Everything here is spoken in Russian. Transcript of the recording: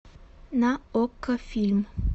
на окко фильм